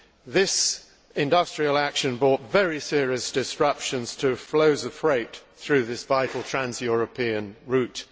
This industrial action brought very serious disruptions to flows of freight through this vital trans European route.